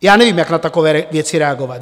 Já nevím, jak na takové věci reagovat.